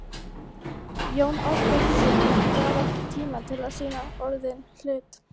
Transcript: Jóni Ásbjarnarsyni gafst ekki tími til að sýta orðinn hlut.